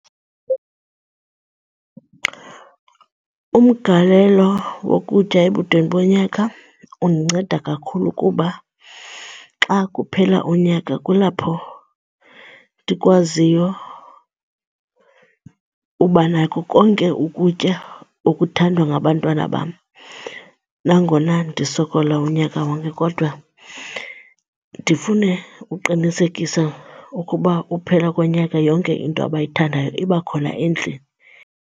Umgalelo wokutya ebudeni bonyaka undinceda kakhulu kuba xa kuphela unyaka kulapho ndikwaziyo uba nako konke ukutya okuthandwa ngabantwana bam. Nangona ndisokola unyaka wonke kodwa ndifune uqinisekisa ukuba ukuphela konyaka yonke into abayithandayo iba khona endlini.